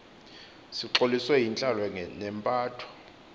sixolisiwe yintlalo nempatho